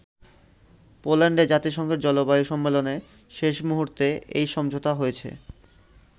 পোল্যান্ডে জাতিসংঘের জলবায়ু সম্মেলনে শেষ মুহূর্তে এই সমঝোতা হয়েছে।